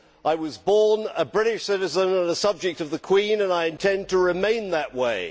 I was born a British citizen and a subject of the Queen, and I intend to remain that way.